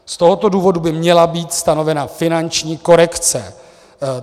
Z tohoto důvodu by měla být stanovena finanční korekce.